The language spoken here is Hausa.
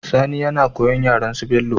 Sani yana koyan yaren su bello